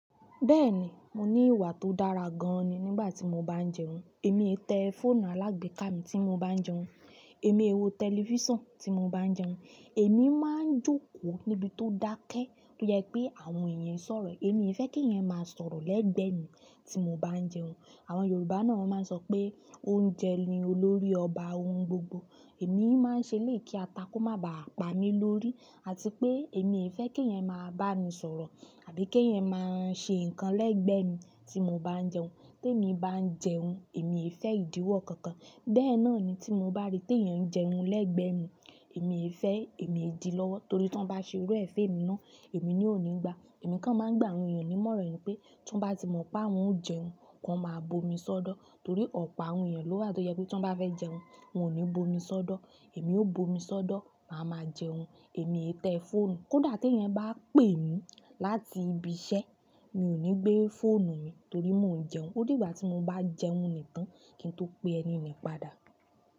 Bẹ́ẹ̀ni, mo ní ìwà tó dára gan ni nígbà tí mo bá ń jẹun. Emi o i te fóònù alagbeka mi ti mo ba n jẹun. Èmi ẹ wo tẹlifísàn tí mo bá ń jẹun. Èmi máa ń jókòó níbi tó dákẹ́ tó jẹ pé àwọn èèyàn ń sọ̀rọ̀. Emi e fe ki eeyan ma sọ̀rọ̀ lẹgbẹ mi ti mo ba n jẹun. Àwọn Yorùbá náà máa ń sọ pé oúnjẹ ni olórí ọba ohun gbogbo. Èmi máa ń ṣelèyi kí atá ko má ba à pa mí lórí. Àti pé èmi e fẹ́ kí ẹ̀eyan máa bá mi sọ̀rọ̀ àbí kí ẹ̀eyan máa ṣe nǹkan lẹ́gbẹ̀ẹ́ mi tí mo bá ń jẹun. Tí èmi bá ń jẹun, èmi fẹ́ ìdíwọ́ kankan. Bẹ́ẹ̀ náà ni tí mo bá rí tí ẹ̀yin ń jẹun lẹ́gbẹ̀ẹ́ mi, èmi e fẹ́ èmi e di lọ́wọ́ torí tí wọ́n bá ṣe irú e fún emi náà, èmi náà ó ní gbà. Èmi kan máa ń gbà àwọn èèyàn nímoran ni pé tí wọ́n bá ti mọ̀ pé àwọn o jẹun, ki wọn máa bomi sọ́dọ̀ torí ọ̀pá àwọn èèyàn ló wà tó jẹ pé tí wọ́n bá fẹ́ jẹun, wọn ò ní bomi sọ́dọ̀. Èmi ó bomi sọ́dọ̀, màá ma jẹun. Èmi ẹ tẹ fóònù. Kódà tí ẹ̀yin bá pè mí láti ibi iṣẹ́, mi ò ní gbé fóònù mi torí mo ń jẹun. Ó dìgbà tí mo bá jẹun nìkan kí n tó pe ẹni yen padà.